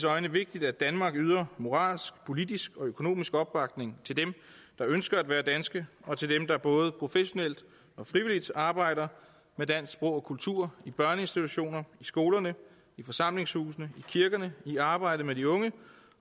øjne vigtigt at danmark yder moralsk politisk og økonomisk opbakning til dem der ønsker at være danske og til dem der både professionelt og frivilligt arbejder med dansk sprog og kultur i børneinstitutioner i skoler i forsamlingshuse i kirker i arbejdet med de unge